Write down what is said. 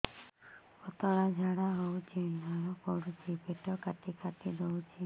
ପତଳା ଝାଡା ହଉଛି ଲାଳ ପଡୁଛି ପେଟ କାଟି କାଟି ଦଉଚି